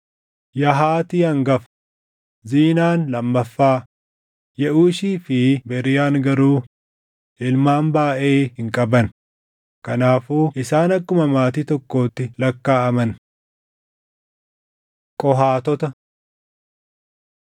Yahaati hangafa; Ziinaan lammaffaa; Yeʼuushii fi Beriiyaan garuu ilmaan baayʼee hin qaban; kanaafuu isaan akkuma maatii tokkootti lakkaaʼaman. Qohaatota